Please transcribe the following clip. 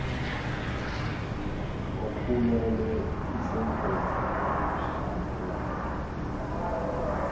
okhulelwe isengozini yokushabalala